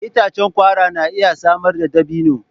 Itacen kwara na iya samar da dabino.